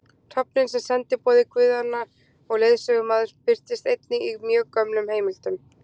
Hrafninn sem sendiboði guðanna og leiðsögumaður birtist einnig í mjög gömlum heimildum.